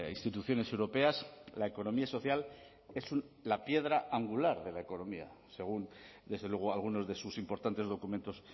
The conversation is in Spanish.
instituciones europeas la economía social es la piedra angular de la economía según desde luego algunos de sus importantes documentos